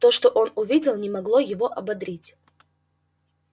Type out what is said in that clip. то что он увидел не могло его ободрить